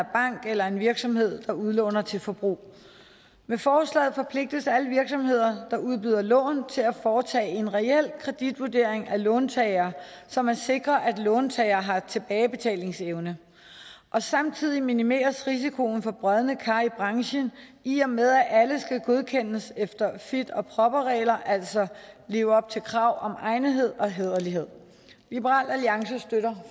bank eller en virksomhed der udlåner til forbrug med forslaget forpligtes alle virksomheder der udbyder lån til at foretage en reel kreditvurdering af låntager så man sikrer at låntager har tilbagebetalingsevne og samtidig minimeres risikoen for brodne kar i branchen i og med at alle skal godkendes efter fit and proper regler altså leve op til krav om egnethed og hæderlighed liberal alliance støtter